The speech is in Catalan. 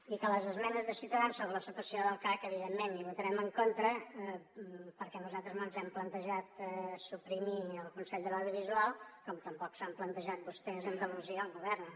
i que les esmenes de ciutadans sobre la supressió del cac evidentment hi votarem en contra perquè nosaltres no ens hem plantejat suprimir el consell de l’audiovisual com tampoc se l’han plantejat vostès a andalusia on governen